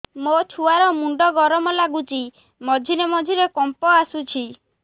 ମୋ ଛୁଆ ର ମୁଣ୍ଡ ଗରମ ଲାଗୁଚି ମଝିରେ ମଝିରେ କମ୍ପ ଆସୁଛି